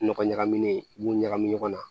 Nɔgɔ ɲagamilen i b'u ɲagami ɲɔgɔn na